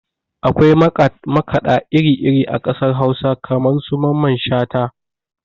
Akwai makaɗa iri iri a ƙasar hausa kamar su mamman shata